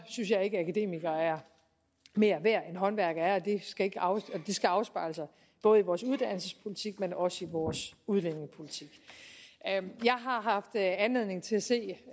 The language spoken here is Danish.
synes at akademikere er mere værd end håndværkere er og det skal afspejle sig både i vores uddannelsespolitik men også i vores udlændingepolitik jeg har haft anledning til at se